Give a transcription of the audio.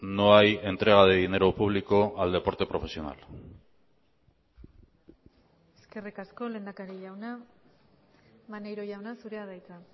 no hay entrega de dinero público al deporte profesional eskerrik asko lehendakari jauna maneiro jauna zurea da hitza